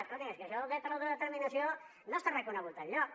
escolti’m és que això del dret a l’autodeterminació no està reconegut enlloc